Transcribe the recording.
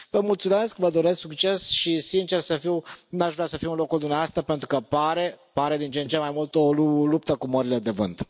Vă mulțumesc, vă doresc succes și sincer să fiu, nu aș vrea să fiu în locul dumneavoastră pentru că pare din ce în ce mai mult o luptă cu morile de vânt.